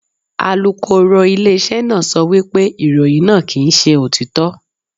Alukoro ilé iṣẹ́ náà sọ wípé ìròyìn náà kì ń ṣe òtítọ́.